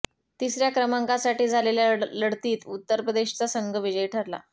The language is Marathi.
तिसर्या क्रमांकासाठी झालेल्या लढतीत उत्तर प्रदेशचा संघ विजयी ठरला